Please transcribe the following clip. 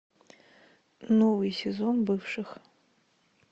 новый сезон бывших